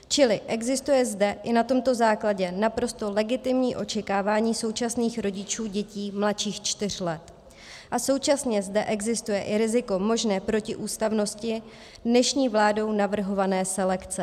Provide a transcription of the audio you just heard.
Čili existuje zde i na tomto základě naprosto legitimní očekávání současných rodičů dětí mladších čtyř let a současně zde existuje i riziko možné protiústavnosti dnešní vládou navrhované selekce.